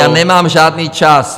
Já nemám žádný čas!